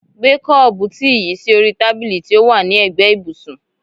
Gbé kọ́ọ̀bù tíì yìí sí orí tábìlì tí ó wà ní ègbé ibùsùn.